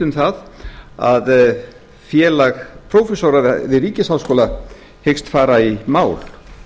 um það að félag prófessora við ríkisháskóla hyggst fara í mál